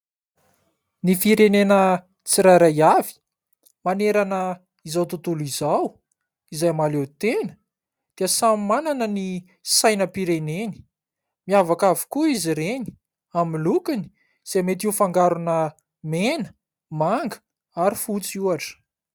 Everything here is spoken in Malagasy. Ny firenena tsirairay avy manerana izao tontolo izao izay mahaleotena dia samy manana ny sainam-pireneny. Miavaka avokoa izy ireny amin'ny lokony izay mety ho fangarona mena, manga ary fotsy ohatra.